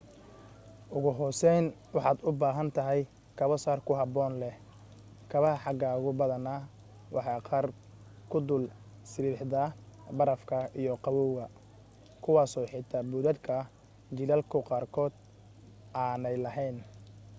ugu hooseyn waxaad u baahan tahay kabo sar ku habboon leh kabaha xagaagu badanaa waa qaar ku dul sibibixda barafka iyo qabawga kuwaaso xitaa buudhadhka jiilaalku qaarkood aanay lahayn